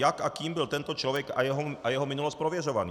Jak a kým byl tento člověk a jeho minulost prověřovaný?